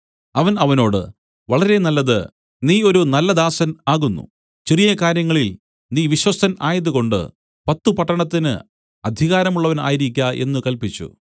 അവൻ അവനോട് വളരെ നല്ലത് നീ ഒരു നല്ല ദാസൻ ആകുന്നു ചെറിയ കാര്യങ്ങളിൽ നീ വിശ്വസ്തൻ ആയതുകൊണ്ട് പത്തു പട്ടണത്തിന് അധികാരമുള്ളവൻ ആയിരിക്ക എന്നു കല്പിച്ചു